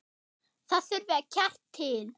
Það þurfti kjark til.